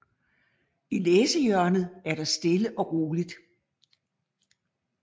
I læsehjørnet er der stille og roligt